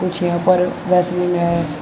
कुछ यहां पर वैसलीन है।